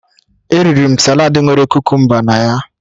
Eriri m saladị nwere kukumba na ya